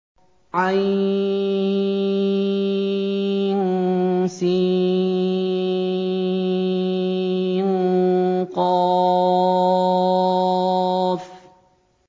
عسق